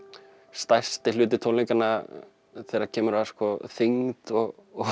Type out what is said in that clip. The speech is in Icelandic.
stærsti hluti tónleikanna þegar kemur að þyngd og